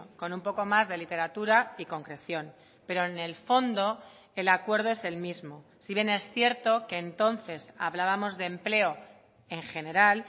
con un poco más de literatura y concreción pero en el fondo el acuerdo es el mismo si bien es cierto que entonces hablábamos de empleo en general